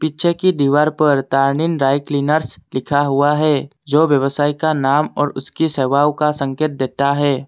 पीछे की दीवार पर टर्निंग ड्राई क्लीनर्स लिखा हुआ है जो व्यवसाय का नाम और उसकी सेवाओं का संकेत देता है।